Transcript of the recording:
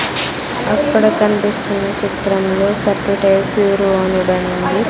అక్కడ కనిపిస్తున్న చిత్రంలో బ్యూరో అని ఉంది.